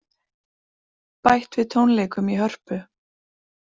Bætt við tónleikum í Hörpu